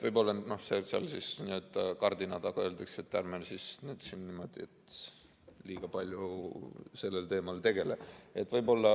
Võib-olla seal kardina taga öeldakse, et ärme nüüd niimoodi liiga palju selle teemaga tegeleme.